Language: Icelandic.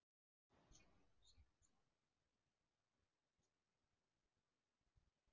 Sunna Sæmundsdóttir: Voru einhver mistök gerð við þessa endurnýjun?